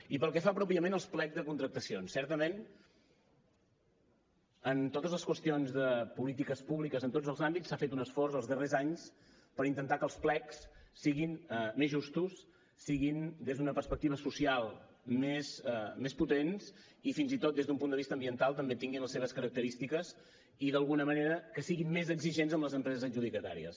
i pel que fa pròpiament als plecs de contractacions certament en totes les qüestions de polítiques públiques en tots els àmbits s’ha fet un esforç els darrers anys per intentar que els plecs siguin més justos siguin des d’una perspectiva social més potents i fins i tot des d’un punt de vista ambiental també tinguin les seves característiques i d’alguna manera que siguin més exigents amb les empreses adjudicatàries